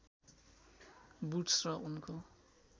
Wood's र उनको